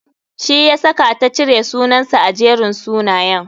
Shi yasaka ta cire sunansa a Jerin sunayen.